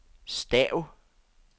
stav